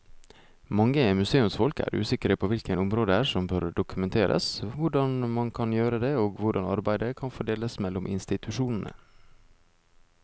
Mange museumsfolk er usikre på hvilke områder som bør dokumenteres, hvordan man kan gjøre det og hvordan arbeidet kan fordeles mellom institusjonene.